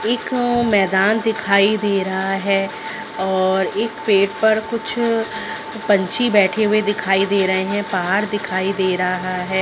एक मैदान दिखाई दे रहा है और एक पेड़ पर कुछ पंछी बैठे हुए दिखाई दे रहा है पहाड़ दिखाई दे रहा है।